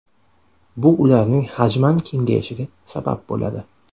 Bu ularning hajman kengayishiga sabab bo‘ladi.